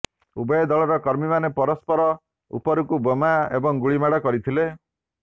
ଉଭୟ ଦଳର କର୍ମୀମାନେ ପରସ୍ପର ଉପରକୁ ବୋମା ଏବଂ ଗୁଳି ମାଡ଼ କରିଥିଲେ